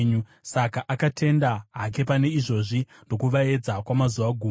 Saka akatenda hake pane izvozvi ndokuvaedza kwamazuva gumi.